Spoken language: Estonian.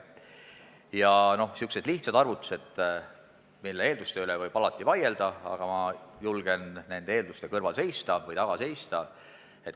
Samuti võime teha sellise lihtsa arvutuse, mille eelduste üle võib alati vaielda, aga mina siiski julgen nende kõrval või taga seista: